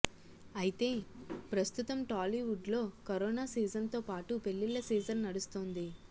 అయితే ప్రస్తుతం టాలీవుడ్లో కరోనా సీజన్తో పాటు పెళ్లిళ్ల సీజన్ నడుస్తోంది